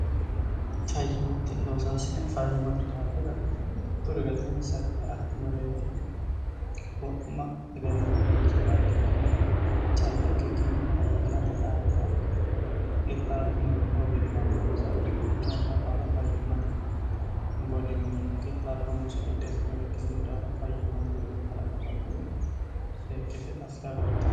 fayyimotte loosaasine fayyimate daafira mittu rigatiin sakki affinoreti wo'ma hegenno noonsa yaa ikkikkinni calla ikkikkinni fayyimmate daafira qixxaabbinore obimma noonsare yanna baala fayyimmate golinni qixaabbo munsa gidheestinore ikkisinu daafo fayyimmate widoo kalaqamannore seekkite afika agartan